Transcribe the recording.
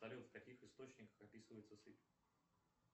салют в каких источниках описывается сыпь